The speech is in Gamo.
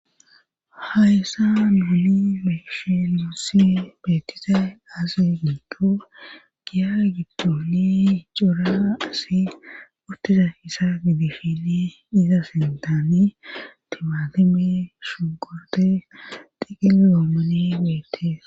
hayssa nuuni meeshe luussi betize aase giikko giya giddooli icora asi uttiza hissa gidifili iza sentani timatime shugorde digila gommani betees